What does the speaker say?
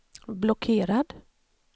blockerad